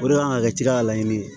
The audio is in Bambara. O de kan ka kɛ tiga laɲini ye